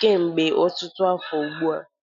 kemgbe ọtụtụ afọ ugbu a.